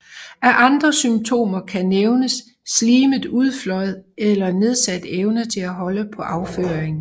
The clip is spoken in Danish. Af andre symptomer kan nævnes slimet udflåd eller nedsat evne til at holde på afføringen